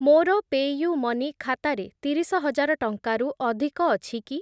ମୋର ପେ'ୟୁ'ମନି ଖାତାରେ ତିରିଶ ହଜାର ଟଙ୍କାରୁ ଅଧିକ ଅଛି କି?